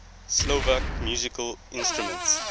slovak musical instruments